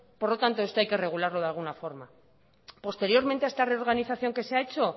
por lo tanto esto hay que regularlo de alguna forma posteriormente a esta reorganización que se ha hecho